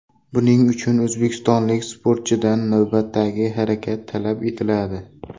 Buning uchun o‘zbekistonlik sportchidan navbatdagi harakat talab etiladi.